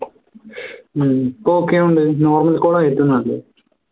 ഹും ഇപ്പോ okay ആവുന്നുണ്ട് normal call ആ ഏറ്റവും നല്ലത്